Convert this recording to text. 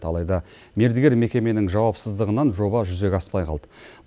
алайда мердігер мекеменің жауапсыздығынан жоба жүзеге аспай қалды